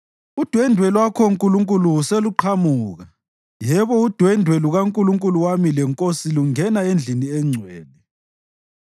Udwendwe lwakho Nkulunkulu seluqhamuka, yebo udwendwe lukaNkulunkulu wami leNkosi lungena endlini engcwele.